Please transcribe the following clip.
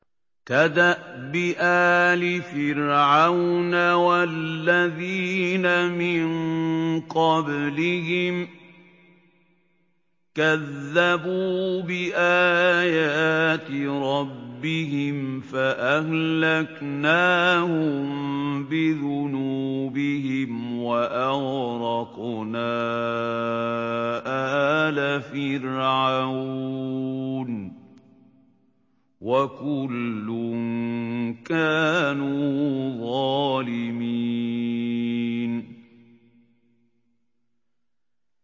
كَدَأْبِ آلِ فِرْعَوْنَ ۙ وَالَّذِينَ مِن قَبْلِهِمْ ۚ كَذَّبُوا بِآيَاتِ رَبِّهِمْ فَأَهْلَكْنَاهُم بِذُنُوبِهِمْ وَأَغْرَقْنَا آلَ فِرْعَوْنَ ۚ وَكُلٌّ كَانُوا ظَالِمِينَ